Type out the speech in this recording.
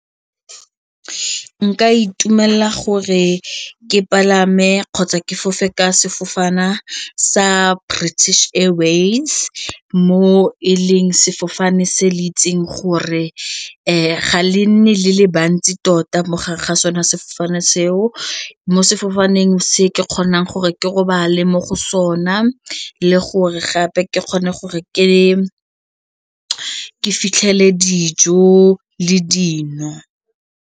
Nka itumela gore ke palame kgotsa ke fofe ka sefofane sa British Airways mo e leng sefofane se le itseng gore ga le nne le le bantsi tota mo gare ga sone, mo sefofaneng se ke kgona gore ke robale mo go sona le gore gape ke kgone gore ke fitlhele dijo le dino.